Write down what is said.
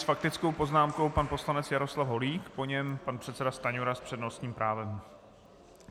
S faktickou poznámkou pan poslanec Jaroslav Holík, po něm pan předseda Stanjura s přednostním právem.